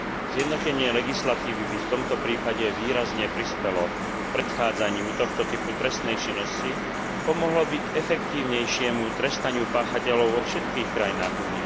Zjednotenie legislatívy by v tomto prípade výrazne prispelo predchádzaniu tohto typu trestnej činnosti a pomohlo by k efektívnejšiemu trestaniu páchateľov vo všetkých členských štátoch.